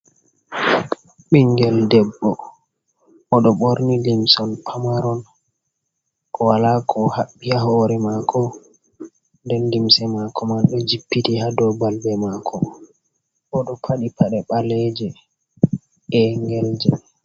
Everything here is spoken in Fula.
Ɓiingel ɗebbo: Oɗo ɓorni limson pamaron wala ko haɓɓi ha hore mako ɗen limse mako man ɗo jippiti ha ɗow balbe mako oɗo padi paɗe baleje e'gelje.